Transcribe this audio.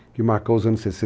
Que marcou os anos 60.